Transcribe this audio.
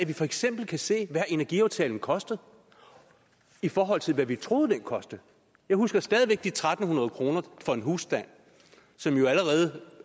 vi for eksempel kan se hvad energiaftalen koster i forhold til hvad vi troede den kostede jeg husker stadig væk de tre hundrede kroner for en husstand allerede